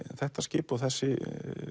þetta skip og þessi